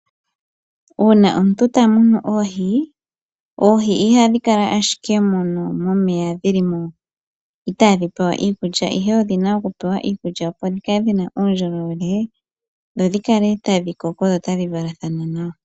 Uuna omuntu ta munu oohi, oohi ihadhi kala ashike mono momeya dhilimo itadhi pewa iikulya ihe odhina oku pewa iikulya opo dhi kale dhina uundjolowele dho dhikale tadhi koko dho tadhi vala dhana nawa.